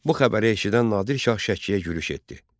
Bu xəbəri eşidən Nadir Şah Şəkiyə yürüş etdi.